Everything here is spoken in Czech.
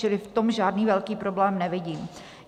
Čili v tom žádný velký problém nevidím.